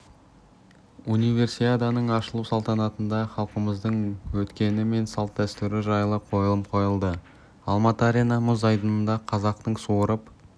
универсиаданың ашылу салтанатында халқымыздың өткені мен салт-дәстүрі жайлы қойылым қойылды алматы арена мұз айдынында қазақтың суырып